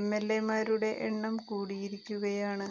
എംഎല്എമാരുടെ എണ്ണം കൂടിയിരിക്കുകയാണ്